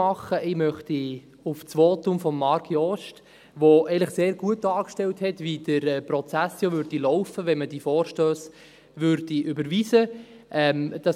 Ich möchte auf das Votum von Marc Jost verweisen, in dem eigentlich sehr gut dargestellt wurde, wie der Prozess laufen würde, wenn man die Vorstösse überweisen würde.